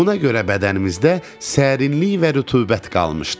Buna görə bədənimizdə sərinlik və rütubət qalmışdı.